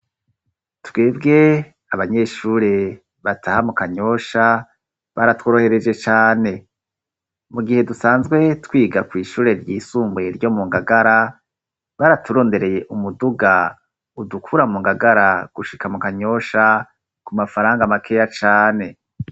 Twebwe abanyeshure bataha mu Kanyosha, baratworohereje cane. Mu gihe dusanzwe twiga kw'ishure ryisumbuye ryo mu Ngagara, baraturondereye umuduga udukura mu Ngagara gushika mu Kanyosha ku mafaranga makeya cane.